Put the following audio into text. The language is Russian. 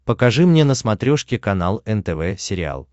покажи мне на смотрешке канал нтв сериал